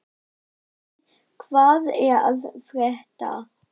Vigný, hvað er að frétta?